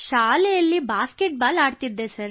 ಶಾಲೆಯಲ್ಲಿ basketball ಆಡುತ್ತಿದ್ದೆ